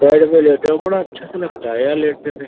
Bed पे लेटे हुए है बड़ा अच्छा सा लगता है यहाँ लेटने में।